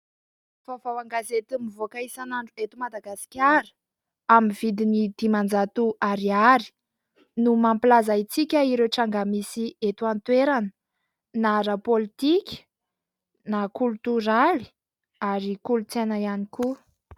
Vaovao an-gazety mivoaka isanandro eto Madagasikara amin'ny vidiny dimanjato ariary no mampilaza antsika ireo tranga misy eto an-toerana na ara-pôlitika na kolotoraly ary kolontsaina ihany koa.